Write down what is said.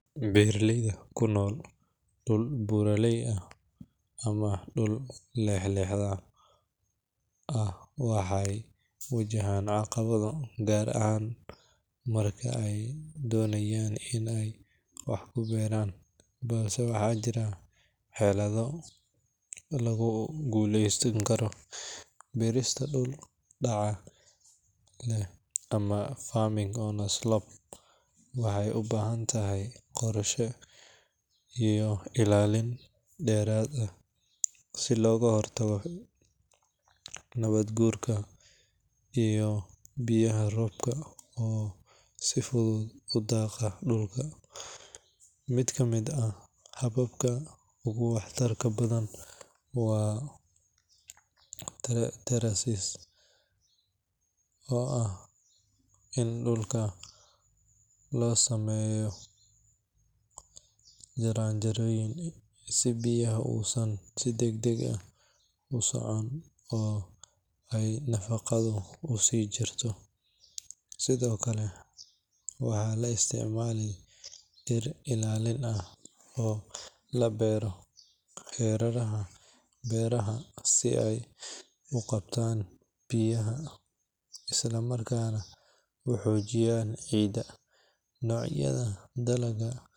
Beeraleyda ku nool dhul buuraley ah ama dhul leexleexda ah waxay wajahaan caqabado gaar ah marka ay doonayaan in ay wax ku beertaan, balse waxaa jira xeelado lagu guuleysan karo. Beerista dhul dhaca leh ama farming on a slope waxay u baahan tahay qorshe iyo ilaalin dheeraad ah si looga hortago nabaad guurka iyo biyaha roobka oo si fudud u dhaqa dhulka. Mid ka mid ah hababka ugu waxtarka badan waa terracing oo ah in dhulka loo sameeyo jaranjarooyin si biyaha uusan si degdeg ah u socon oo ay nafaqadu u sii jirto. Sidoo kale waxaa la isticmaalaa dhir ilaalin ah oo la beero hareeraha beeraha si ay u qabtaan biyaha isla markaana u xoojiyaan ciidda. Noocyada dalagga.